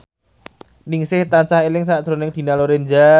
Ningsih tansah eling sakjroning Dina Lorenza